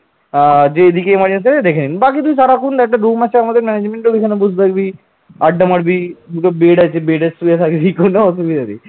আড্ডা মারবি, দুটো bed আছে bed শুয়ে থাকবি কোন অসুবিধা নেই ।